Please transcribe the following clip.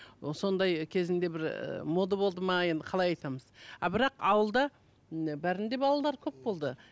ы сондай кезінде бір ыыы мода болды ма енді қалай айтамыз а бірақ ауылда м бәрінде балалар көп болды